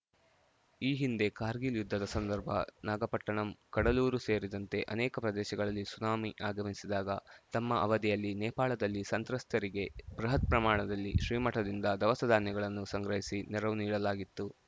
ಈ ಹಿಂದೆ ಕಾರ್ಗಿಲ್‌ ಯುದ್ಧದ ಸಂದರ್ಭ ನಾಗಪಟ್ಟಣಂ ಕಡಲೂರು ಸೇರಿದಂತೆ ಅನೇಕ ಪ್ರದೇಶದಲ್ಲಿ ಸುನಾಮಿ ಆಗಮಿಸಿದಾಗ ತಮ್ಮ ಅವಧಿಯಲ್ಲಿ ನೇಪಾಳದಲ್ಲಿ ಸಂತ್ರಸ್ತರಿಗೆ ಬೃಹತ್‌ ಪ್ರಮಾಣದಲ್ಲಿ ಶ್ರೀಮಠದಿಂದ ದವಸಧಾನ್ಯಗಳನ್ನು ಸಂಗ್ರಹಿಸಿ ನೆರವು ನೀಡಲಾಗಿತ್ತು